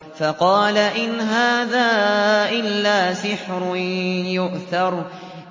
فَقَالَ إِنْ هَٰذَا إِلَّا سِحْرٌ يُؤْثَرُ